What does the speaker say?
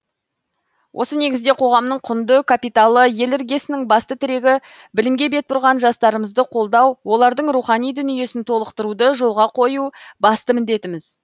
осы негізде қоғамның құнды капиталы ел іргесінің басты тірегі білімге бет бұрған жастарымызды қолдау олардың рухани дүниесін толықтыруды жолға қою басты міндетіміз